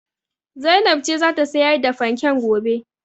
Zainab ce za ta sayar da fanken gobe.